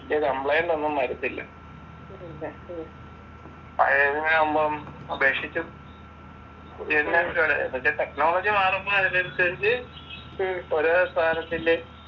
പിന്നെ കംപ്ലയിന്റ്ഒന്നും വരത്തില്ല പഴയതിനെ ആകുമ്പോൾ അപേക്ഷിച്ചു എന്ന് വെച്ച് ടെക്നോളജി മാറുമ്പോ അതിനനുസരിച്ചു ഓരോ സാധനത്തിന്റേം